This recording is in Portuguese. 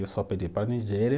Eu só pedi para a Nigéria.